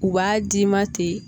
U b'a d'i ma ten